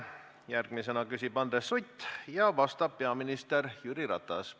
Järgmisena küsib Andres Sutt ja vastab peaminister Jüri Ratas.